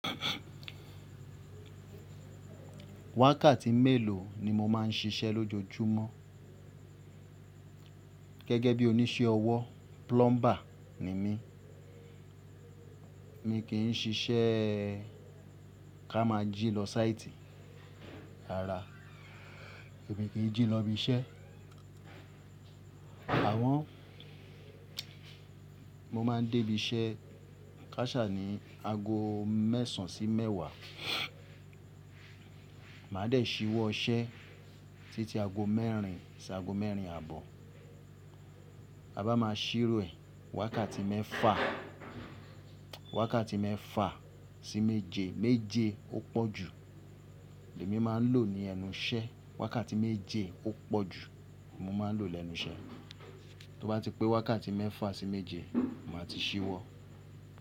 Wákàtí mélòó ni mo máa ń ṣiṣẹ́ lójoojúmọ́? Gẹ́gẹ́ bí oníṣẹ́ ọwọ́, plumber ni mí. Mi kì í ṣiṣẹ́ ká máa jí lọ sáìtì, rárá èmi kì í jí lọ ibi iṣẹ́. Àmo, mo máa ń dé ibi iṣẹ́ kásà ní aago mẹ́sàn sí mewàá. Màá dẹ̀ ṣíwọ́ iṣẹ́ títí aago mẹ́rin sí aago mẹ́rin àbọ̀. A bá máa ṣírò ẹ̀, wákàtí mẹ́fà, wákàtí mẹ́fà sí méje, méje ó pọ̀ jù. Èmi máa ń lò ó ní ẹnu iṣẹ́. Wákàtí méje ó pọ̀ jù, mo máa ń lò lẹnu iṣẹ́. Tó bá ti pé wákàtí mẹ́fà sí méje, màá ti ṣíwọ́.